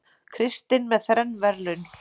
Kristinn með þrenn verðlaun